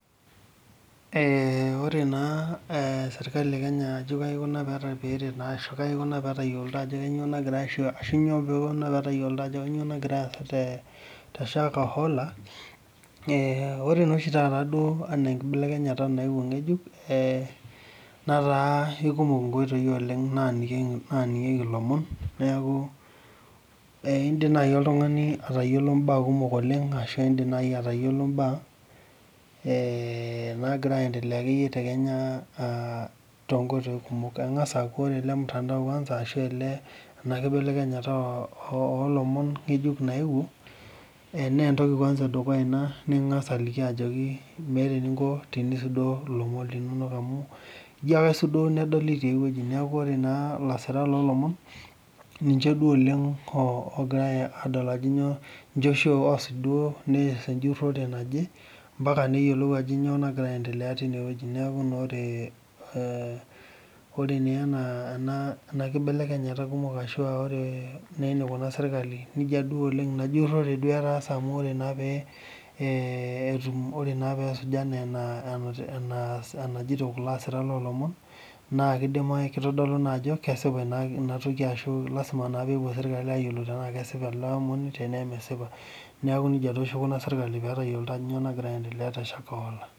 Ore sirkali ekenya pee etayioloito ajo kainyoo nagira aasa teshakahola ,ore naa oshi taata ena enkibelekenyata nayeuo ngejuk netaa keikumok nkoitoi oleng naningieki ilomon neeku indim naaji oltungani atayiolo mbaa kumok oleng ashu mbaa nagira aendelea tekenya ,engas aaku ore ele mtandao kwanza ashu ena kibelenyata olomon ngejuk nayeuo naa entoki edukuya ina angas nikingas aliki ajoki meeta eninko tinisudoo lomon linonok amu ijo ake aisudoo nedoli tiae weji neeku ore naa lasirak loolomon ninche ashu oosuj duo nees enjurore naje mpaka neyiolou ajo nyoo nagira aasa tineweji, neeku oree naa ena kibelenyata kumok ashua enikira sirkali najia duo oleng ina jurore ,ore naa peese ena enajito kulo asirak loolomon naa kitodolu naa ajo kesipa inatoki aashu lasima pee epuo sirkali ayiolou tenaa kesipa tenaa mesipa neeku nejia oshi eikunari sirkali pee eyiolou ajo kainyoo nagira aendelea teshakahola.